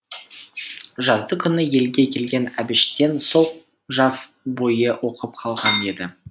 жазды күні елге келген әбіштен сол жаз бойы оқып қалған еді